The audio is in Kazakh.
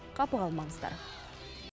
қапы қалмаңыздар